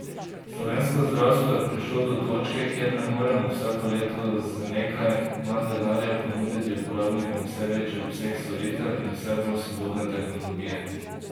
Slovensko zdravstvo je prišlo do točke, kjer ne moremo vsako leto z nekaj manj denarja ponuditi uporabnikom vse večjega obsega storitev in vse bolj sodobne tehnologije.